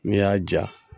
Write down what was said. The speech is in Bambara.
N'i y'a ja